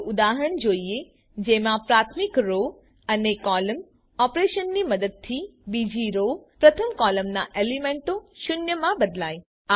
ચાલો ઉદાહરણ જોઈએ જેમાં પ્રાથમિક રો અને કૉલમ ઓપરેશનની મદદથી બીજી રો પ્રથમ કોલમના એલીમેન્ટો શૂન્યમાં બદલાય